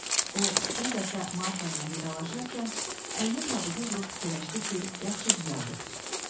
O, son dəfə Marfa ilə vidalaşarkən əlini tabuta vurub fikirləşdi ki, yaxşı düzəldib.